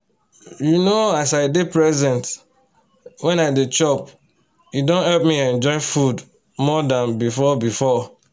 you know as i dey present wen i dey chop e don help me enjoy food more than before before